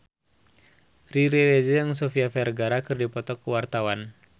Riri Reza jeung Sofia Vergara keur dipoto ku wartawan